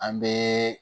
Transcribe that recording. An bɛ